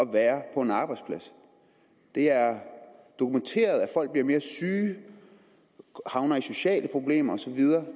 være på en arbejdsplads det er dokumenteret at folk bliver mere syge havner i sociale problemer osv